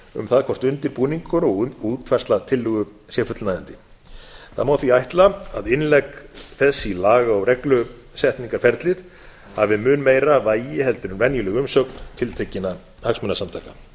um það hvort undirbúningur og útfærsla tillögu sé fullnægjandi það má því ætla að innlegg þess í laga og reglusetningarferlið hafi mun meira vægi en venjuleg umsögn tiltekinna hagsmunasamtaka